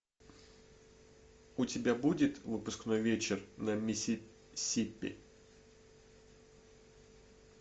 у тебя будет выпускной вечер на миссисипи